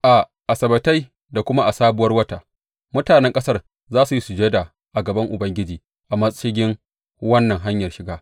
A Asabbatai da kuma a Sabuwar Wata mutanen ƙasar za su yi sujada a gaban Ubangiji a mashigin wannan hanyar shiga.